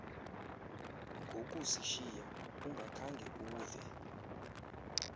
ngokusishiya ungakhange uve